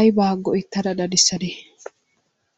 aybaa go''ettada daddissade?